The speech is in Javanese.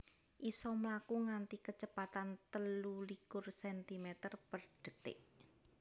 isa mlaku nganti kecepatan telu likur centimeter per detik